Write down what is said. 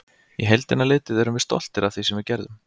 Í heildina litið erum við stoltir af því sem við gerðum.